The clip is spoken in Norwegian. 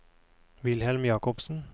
Wilhelm Jakobsen